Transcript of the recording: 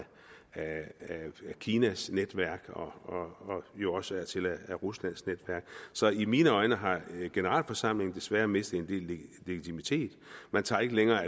kinas netværk og jo også af ruslands netværk så i mine øjne har generalforsamlingen desværre mistet en del legitimitet man tager ikke længere